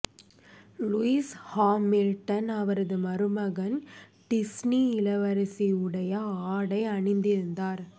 Lewis Hamilton அவரது மருமகன் Disney இளவரசி உடைய ஆடை அணிந்திருந்தார்